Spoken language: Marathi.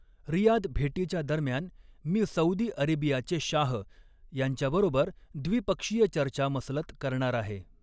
रियाद भेटीच्या दरम्यान, मी सऊदी अरेबियाचे शाह यांच्याबरोबर व्दिपक्षीय चर्चा मसलत करणार आहे.